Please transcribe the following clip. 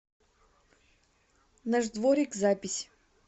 наш дворик запись